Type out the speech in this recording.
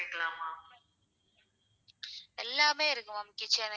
எல்லாமே இருக்கு ma'am kitchen ல.